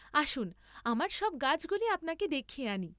আসুন আমার সব গাছগুলি আপনাকে দেখিয়ে আনি।